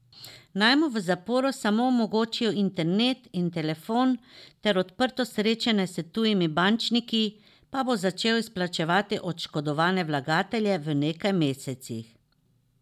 Naj mu v zaporu samo omogočijo internet in telefon ter odprto srečanje s tujimi bančniki, pa bo začel izplačevati oškodovane vlagatelje v nekaj mesecih.